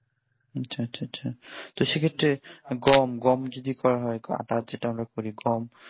আচ্ছা আচ্ছা আচ্ছা তা সেক্ষেত্রে গম গম যদি করা হয় আটা যেটা আমরা করি গম